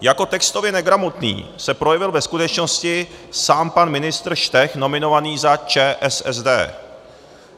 Jako textově negramotný se projevil ve skutečnosti sám pan ministr Štech nominovaný za ČSSD.